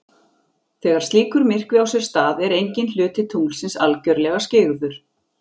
Þegar slíkur myrkvi á sér stað er enginn hluti tunglsins algjörlega skyggður.